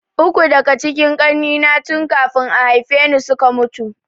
Uku daka cikin kakannina tun kafin a haifeni suka mutu